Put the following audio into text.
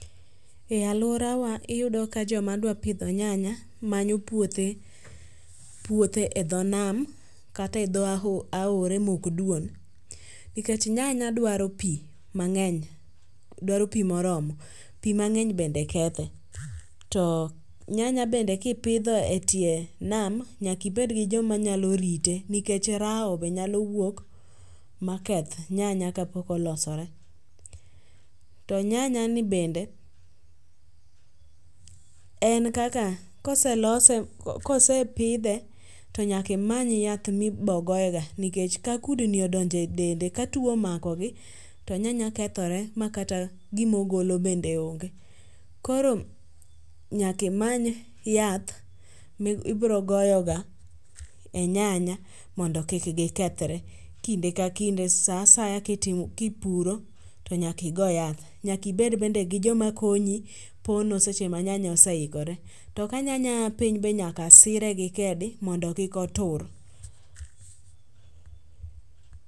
E aluora wa iyudo ka jo ma dwa pidho nyanya manyo puothe e dho nam, kata e dho aora ma ok dwon, nikech nyanya dwaro pi mangeny dwaro pi ma oromo nikech pi mangeny bende kethe to nyanya bende ki ipidho e tie nam to nyaka ibed gi jo ma rite nikech rao be nyalo wuok ma keth nyanya ka pok olosore to nyanya ni bende en kaka ka oselose, ka osepidhe to nyaka imany yath ma ibo goye ga nikech ka kudni odonjo e dende ka two omako gi to nyanya kethore ma kata gi ma ogolo bende onge koro nyaka imany yath mi ibiro goyo ga e nyanya mondo kik gi kethre kinde ka kinde sa asaya ki ipuro to nyaka igo yath. Nyaka bende ibed gi jo ma konyi pono seche ma nyanya oseikore to ka nyanya ya piny to nyaka sike gi kedi mondo kik otur.